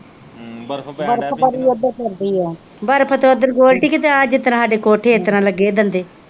ਬਰਫ ਬੜੀ ਓਦਰ ਪੈਂਦੀ ਆ ਬਰਫ ਤੇ ਓਦਰ ਗੋਲਡੀ ਕਿਤੇ ਆ ਜਿਸਤਰਾਂ ਹਾਡੇ ਕੋਠੇ ਇਸਤਰਾਂ ਲੱਗੇ ਦੰਦੇ।